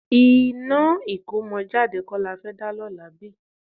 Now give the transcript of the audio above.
Iná ìkómọjáde kọ́ la fẹ́ dá lọ́la bí?